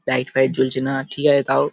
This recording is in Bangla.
লাইট ফাইট জ্বলছে না ঠিক আছে তাও --